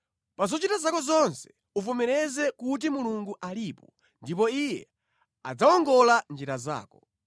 Pa zochita zako zonse uvomereze kuti Mulungu alipo, ndipo Iye adzawongola njira zako.